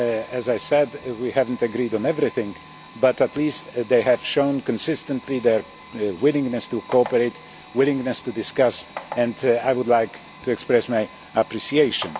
As I said, we have not agreed on everything, but at least they have shown consistently their willingness to cooperate, willingness to discuss, and I would like to express my appreciation.